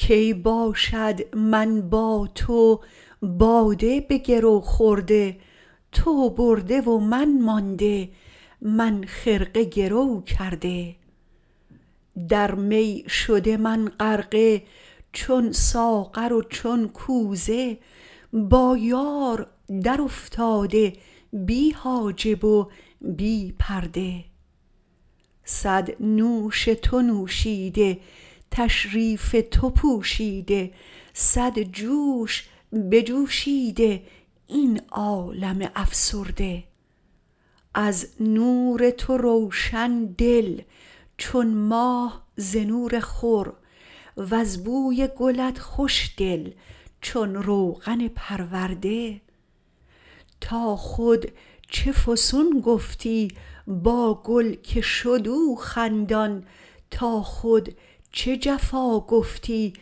کی باشد من با تو باده به گرو خورده تو برده و من مانده من خرقه گرو کرده در می شده من غرقه چون ساغر و چون کوزه با یار درافتاده بی حاجب و بی پرده صد نوش تو نوشیده تشریف تو پوشیده صد جوش بجوشیده این عالم افسرده از نور تو روشن دل چون ماه ز نور خور وز بوی گلت خوشدل چون روغن پرورده تا خود چه فسون گفتی با گل که شد او خندان تا خود چه جفا گفتی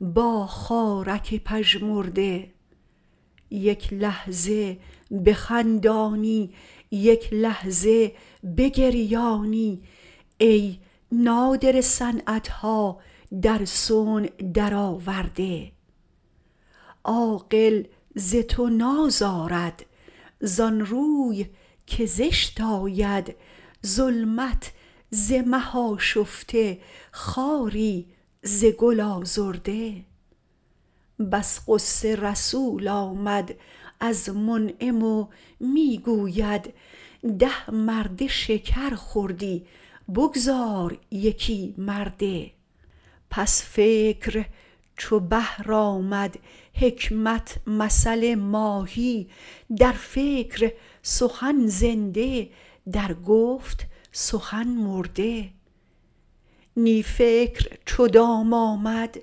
با خارک پژمرده یک لحظه بخندانی یک لحظه بگریانی ای نادره صنعت ها در صنع درآورده عاقل ز تو نازارد زان روی که زشت آید ظلمت ز مه آشفته خاری ز گل آزرده بس غصه رسول آمد از منعم و می گوید ده مرده شکر خوردی بگذار یکی مرده پس فکر چو بحر آمد حکمت مثل ماهی در فکر سخن زنده در گفت سخن مرده نی فکر چو دام آمد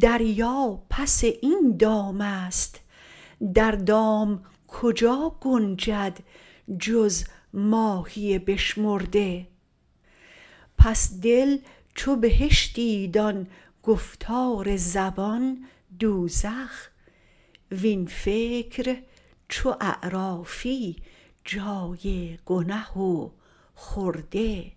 دریا پس این دام است در دام کجا گنجد جز ماهی بشمرده پس دل چو بهشتی دان گفتار زبان دوزخ وین فکر چو اعرافی جای گنه و خرده